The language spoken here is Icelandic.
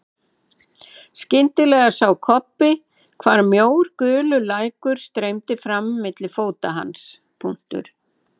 Skyndilega sá Kobbi hvar mjór gulur lækur streymdi fram milli fóta hans.